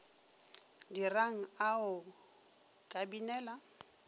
dirang a o ka binela